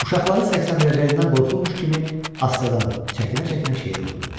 Uşaqları səksəndirəcəyindən qorxulmuş kimi astadan, çəkinə-çəkinə şeiri oxudu.